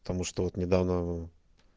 потому что вот недавно